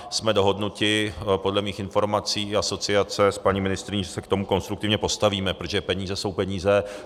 Jsme dohodnuti, podle mých informací, asociace s paní ministryní, že se k tomu konstruktivně postavíme, protože peníze jsou peníze.